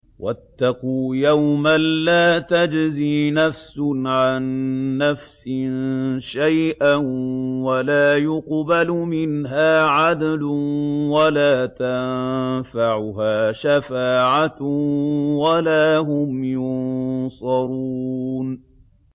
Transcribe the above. وَاتَّقُوا يَوْمًا لَّا تَجْزِي نَفْسٌ عَن نَّفْسٍ شَيْئًا وَلَا يُقْبَلُ مِنْهَا عَدْلٌ وَلَا تَنفَعُهَا شَفَاعَةٌ وَلَا هُمْ يُنصَرُونَ